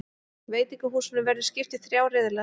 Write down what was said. Veitingahúsunum verður skipt í þrjá riðla